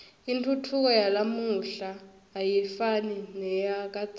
intfutfuko yalamuhla ayifani neyakadzeni